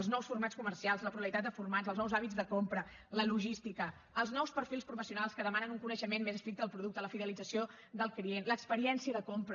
els nous formats comercials la pluralitat de formats els nous hàbits de compra la logística els nous perfils professionals que demanen un coneixement més estricte del producte la fidelització del client l’experiència de compra